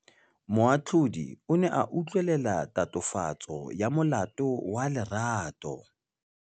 Moatlhodi o ne a utlwelela tatofatsô ya molato wa Lerato.